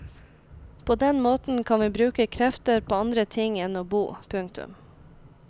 På den måten kan vi bruke krefter på andre ting enn å bo. punktum